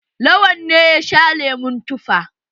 Lawan ne ya sha lemon tufa.